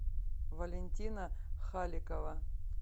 валентина халикова